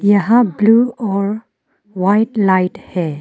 यहां ब्लू और white light है।